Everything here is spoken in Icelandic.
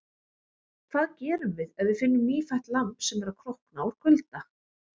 Hvað gerum við ef við finnum nýfætt lamb sem er að krókna úr kulda?